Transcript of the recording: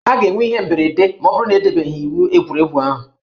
A ga-enwe ihe mberede ma ọ bụrụ na edebeghị iwu egwuregwu ahụ